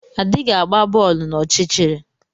Adighị agba boolu n’ọchịchịrị